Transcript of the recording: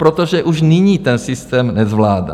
Protože už nyní ten systém nezvládá.